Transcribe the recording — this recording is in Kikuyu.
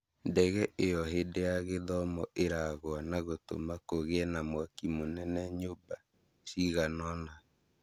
Ndege ĩyo hĩndĩ ya gĩthomo ĩragwa na gũtũma kũgie na mwaki mũnene nyũmba ciganona